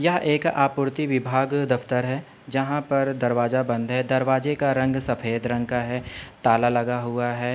यह एक आपूर्ति विभाग दफ्तर है। जहां पर दरवाजा बंद है। दरवाजे का रंग सफ़ेद रंग का है। ताला लगा हुआ है।